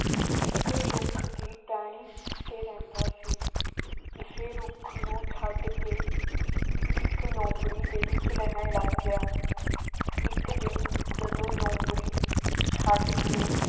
ਇੱਕ ਰੁੱਖ ਦੀ ਟਹਿਣੀ ਤੇ ਰਹਿੰਦਾ ਸੀ। ਇਸੇ ਰੁੱਖ ਨੂੰ ਛੱਡ ਕੇ ਇੱਕ ਲੂੰਬੜੀ ਦੇ ਵਿੱਚ ਰਹਿਣ ਲੱਗ ਗਿਆ। ਇੱਕ ਦਿਨ ਜਦੋਂ ਲੂੰਬੜੀ ਛੱਡ ਕੇ